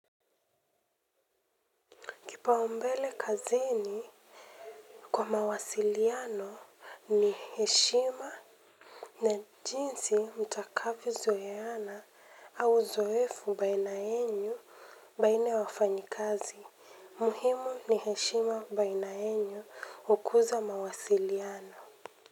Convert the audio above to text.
Kipaumbele kazini kwa mawasiliano ni heshima na jinsi mtakavyo zoeana au uzoefu baina yenyu baina ya wafanyikazi. Muhimu ni heshima baina yenyu hukuza mawasiliano.